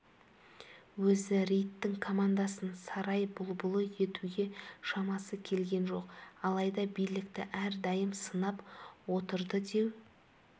өзі рейттің командасын сарай бұлбұлы етуге шамасы келген жоқ алайда билікті әрдайым сынап отырды деу